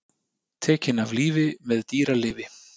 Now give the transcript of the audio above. Tekinn af lífi með dýralyfi